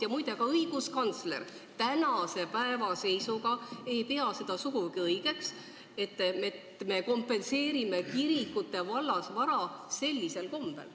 Ja muide, ka õiguskantsler ei pea seda tänase seisuga sugugi õigeks, et me kompenseerime kirikute vallasvara sellisel kombel.